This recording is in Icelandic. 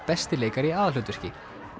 besti leikari í aðalhlutverki